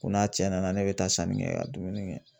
Ko n'a cɛ nana ne bɛ taa sanni kɛ ka dumuni kɛ.